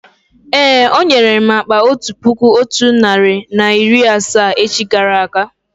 Èé, ọ nwere m akpa otu puku otu narị na iri asaa echi gara aga